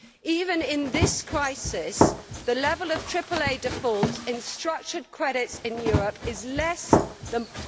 Even in this crisis, the level of AAA defaults in structured credits in Europe is less than